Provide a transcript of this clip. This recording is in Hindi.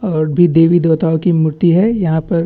और जो देवी देवताओं की मूर्ति है यहाँ पर--